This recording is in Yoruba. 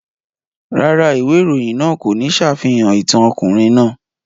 Rárá, ìwé ìròyìn náà kò ní ṣàfihàn ìtàn ọkùnrin náà.